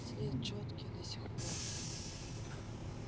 след чёткий до сих пор